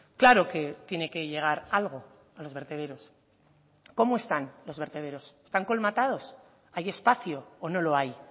claro que tiene que llegar algo a los vertederos cómo están los vertederos están colmatados hay espacio o no lo hay